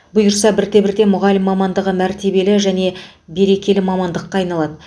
бұйырса бірте бірте мұғалім мамандығы мәртебелі және берекелі мамандыққа айналады